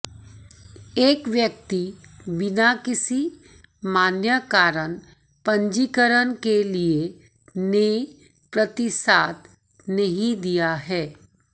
एक व्यक्ति बिना किसी मान्य कारण पंजीकरण के लिए ने प्रतिसाद नहीं दिया है